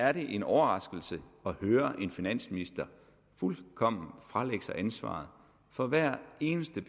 er det en overraskelse at høre en finansminister fuldkommen fralægge sig ansvaret for hver eneste